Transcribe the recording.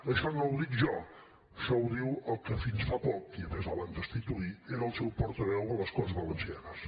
això no ho dic jo això ho diu el que fins fa poc el van destituir era el seu portaveu a les corts valencianes